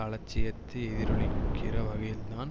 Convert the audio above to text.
அலட்சியத்தை எதிரொலிக்கிற வகையில்தான்